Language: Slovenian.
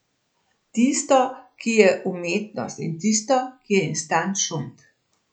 Tisto, ki je umetnost, in tisto, ki je instant šund.